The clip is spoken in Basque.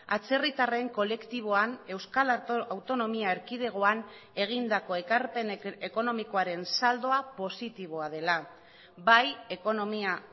atzerritarren kolektiboan euskal autonomia erkidegoan egindako ekarpen ekonomikoaren saldoa positiboa dela bai ekonomia